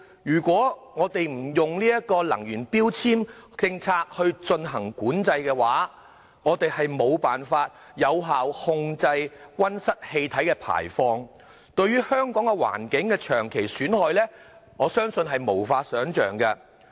如果不利用能源標籤政策進行規管，我們將無法有效控制溫室氣體的排放，對香港環境的長期損害將無法想象。